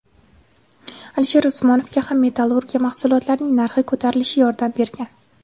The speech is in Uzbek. Alisher Usmonovga ham metallurgiya mahsulotlarining narxi ko‘tarilishi yordam bergan.